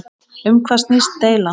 Um hvað snýst deilan?